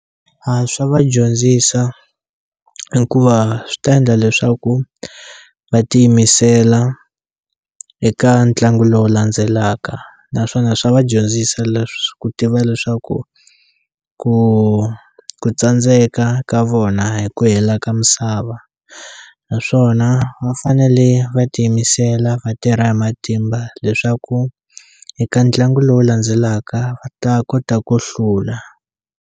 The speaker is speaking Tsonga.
A swa va dyondzisa hikuva swi ta endla leswaku va tiyimisela eka ntlangu lowu landzelaka naswona swa va dyondzisa leswi ku tiva leswaku ku ku tsandzeka ka vona a hi ku hela ka misava naswona va fanele va tiyimisela va tirha hi matimba leswaku eka ntlangu lowu landzelaka va ta kota ku hlula.